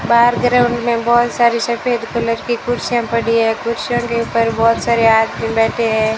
बाहर गर्मी है बहुत सारी सफेद कलर की कुर्सियां पड़ी हैं कुर्सियों के ऊपर बहुत सारे आदमी बैठे हैं।